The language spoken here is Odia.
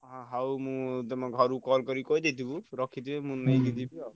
ହଉ ମୁଁ ତମ ଘରୁକୁ call କରି କହିଦେଇଥିବୁ ରଖିଥିବେ ମୁଁ ନେଇକି ଯିବି ଆଉ।